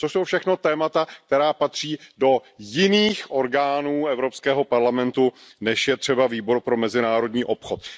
To jsou všechno témata, která patří do jiných orgánů Evropského parlamentu, než je třeba Výbor pro mezinárodní obchod.